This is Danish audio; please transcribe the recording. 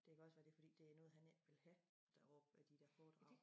Det kan også være det fordi det noget han ikke vil have deropppe de dér foredrag